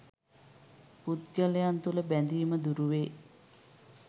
පුද්ගලයන් තුළ බැඳීම දුරුවේ.